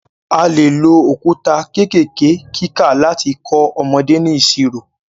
A lè lo òkúta kékèké kíkà láti kọ́ ọmọdé ní ìṣirò.